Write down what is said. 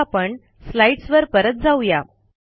आता आपण स्लाईडसवर परत जाऊ या